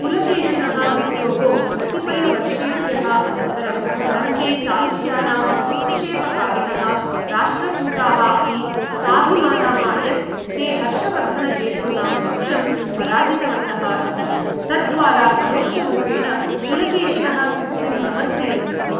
पुलकेशिनः मृत्योः कतिपयवर्षेभ्यः अनन्तरं, अन्ते चालुक्यानाम् उत्क्षेपकारिणः राष्ट्रकूटाः अपि साभिमानाः यत् ते हर्षवर्धनजेतॄणां वंशं पराजितवन्तः इति, तद्द्वारा परोक्षरूपेण पुलकेशिनः सिद्धिं समर्थयन्ति स्म।